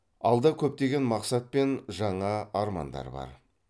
алда көптеген мақсат пен жаңа армандар бар